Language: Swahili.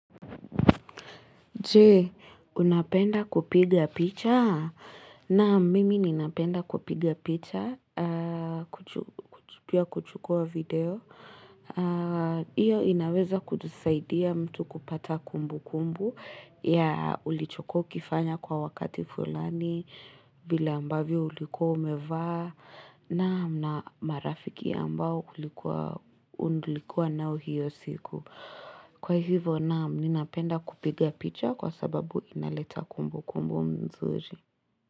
Jee, unapenda kupiga picha? Naam, mimi ninapenda kupiga picha, kuchukua video. Hiyo inaweza kutusaidia mtu kupata kumbu kumbu ya ulichokuwa ukifanya kwa wakati fulani, vile ambavyo ulikuwa umevaa, naam, na marafiki ambao ulikuwa, unlikuwa nao hiyo siku. Kwa hivyo Nam ninapenda kupiga picha kwa sababu inaleta kumbu kumbu mzuri.